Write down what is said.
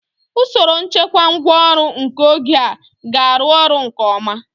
Usoro nchekwa ngwá ọrụ nke oge a ga-arụ ọrụ nke ọma.